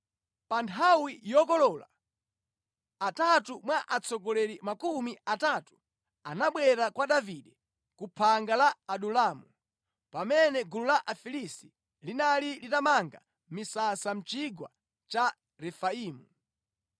Pa nthawi yokolola, atatu mwa atsogoleri makumi atatu anabwera kwa Davide ku phanga la Adulamu, pamene gulu la Afilisti linali litamanga misasa mʼchigwa cha Refaimu.